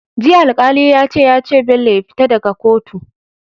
Jiya alkali yace yace Bello ya fita daka kotu